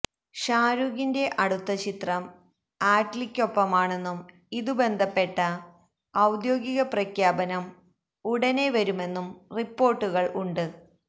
ഷാരൂഖിന്റെ അടുത്ത ചിത്രം ആറ്റ് ലിയ്ക്കൊപ്പമാണെന്നും ഇതുമായി ബന്ധപ്പെട്ട ഔദ്യോഗിക പ്രഖ്യാപനം ഉടനെ വരുമെന്നും റിപ്പോര്ട്ടുകള് ഉണ്ട്